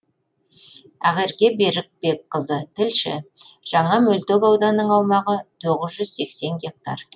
ақерке берікбекқызы тілші жаңа мөлтек ауданның аумағы тоғыз жүз сексен гектар